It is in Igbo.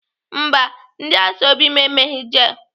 Mba, ndị ashọbị m emeghị jel.